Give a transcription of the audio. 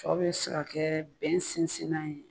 Sɔ bɛ se ka kɛ bɛn sinsinnan ye